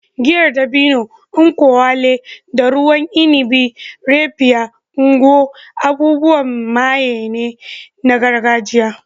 Giyar dabino (nkwu elu) da ruwan inabi "Raphia" (Ngwo) abubuwan maye ne na gargajiya.